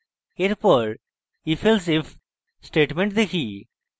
এরপর ifelsif statement দেখি